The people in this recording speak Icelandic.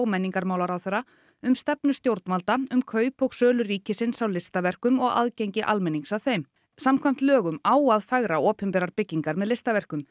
menningarmálaráðherra um stefnu stjórnvalda um kaup og sölu ríkisins á listaverkum og aðgengi almennings að þeim samkvæmt lögum á að fegra opinberar byggingar með listaverkum